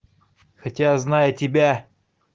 хотя зная тебя